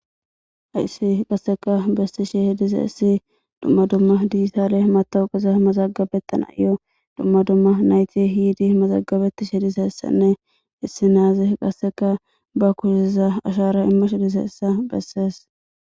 Hayssi qasseka bessi shi hidiza issi dumma dumma digitaale matowuqeza mazagabettan a iyo dumma dumma nayti hiidi mazagabetti shedizessanne issi naaze qasseka ba kusiza ashara imma she diseessa bessees.